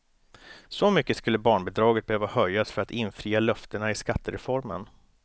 Så mycket skulle barnbidraget behöva höjas för att infria löftena i skattereformen.